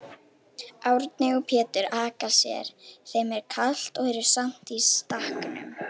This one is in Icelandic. Árni og Pétur aka sér, þeim er kalt og eru samt í stakknum.